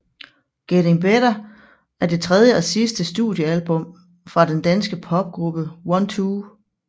Getting Better er det tredje og sidste studiealbum fra den danske popgruppe OneTwo